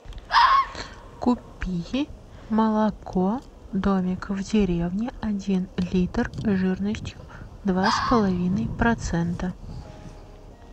купи молоко домик в деревне один литр жирностью два с половиной процента